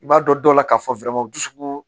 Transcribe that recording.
I b'a dɔn dɔw la k'a fɔ dusukun